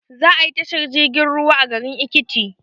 Za ayi tashar jirgin ruwa a garin ekiti